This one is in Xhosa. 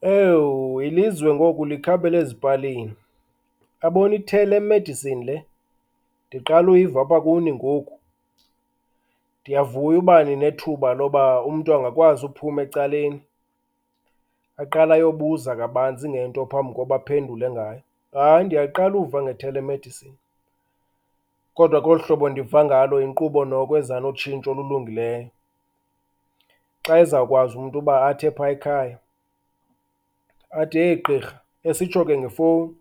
Ewu ilizwe ngoku likhabela ezipalini. Yabona i-telemedicine le ndiqala uyiva apha kuni ngoku. Ndiyavuya uba ninethuba loba umntu angakwazi uphuma ecaleni, aqale ayobuza kabanzi ngento phambi koba aphendule ngayo. Hayi ndiyaqala uva nge-telemedicine. Kodwa ke olu hobo ndiva ngalo yinkqubo noko eza notshintsho olulungileyo, xa ezawukwazi umntu uba athi epha ekhaya athi, heyi gqirha, esitsho ke ngefowuni,